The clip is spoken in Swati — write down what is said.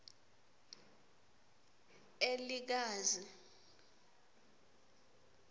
elikazi